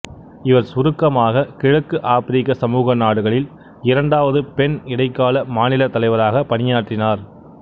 இவர் சுருக்கமாக கிழக்கு ஆப்பிரிக்க சமூக நாடுகளில் இரண்டாவது பெண் இடைக்கால மாநிலத் தலைவராக பணியாற்றினார்